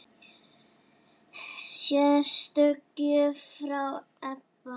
Sérstök gjöf frá Ebba.